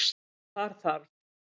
Þar þarf